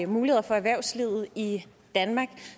muligheder for erhvervslivet i danmark